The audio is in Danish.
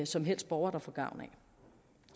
som helst borger der får gavn